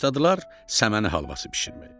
Başladılar səməni halvası bişirməyə.